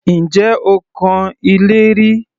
Ǹjẹ́ o kan ilé rí?